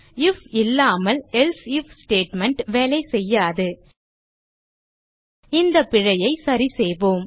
if இல்லாமல் else if statement வேலைசெய்யாது இந்த பிழையை சரிசெய்வோம்